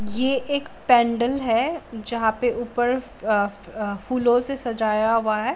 ये एक पेेंडल है जहाँ पे ऊपर आ-आ फूलो से सजाया हुआ है।